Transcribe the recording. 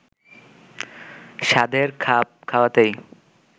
সাধের খাপ খাওয়াতেই